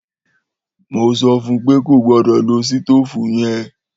Mó sọfún pe kó gbọdọ ló sítòfú yen.